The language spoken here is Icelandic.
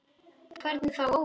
Hvernig þá óvitar?